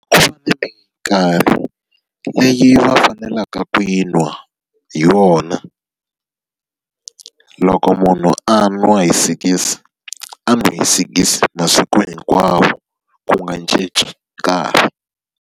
leyi va faneleke ku yi nwa hi wona. Loko munhu a nwa hi sikisi, a nwi sikisi masiku hinkwawo ku nga cinci nkarhi.